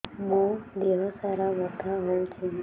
ମୋ ଦିହସାରା ବଥା ହଉଚି